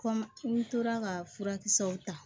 Kɔmi n tora ka furakisɛw ta